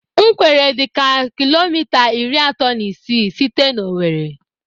Ńwkèrè dịka kilomita iri atọ na isii site na Owere.